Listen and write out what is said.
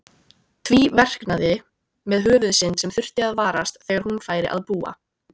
Tvíverknaði með Höfuðsynd sem þurfti að varast þegar hún færi að búa.